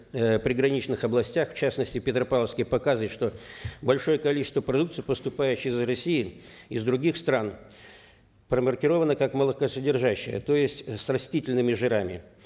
э приграничных областях в частности в петропавловске показывает что большое количество продукции поступающей из россии из других стран промаркировано как молокосодержащее то есть с растительными жирами